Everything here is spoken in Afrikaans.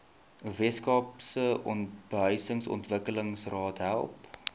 weskaapse behuisingsontwikkelingsraad help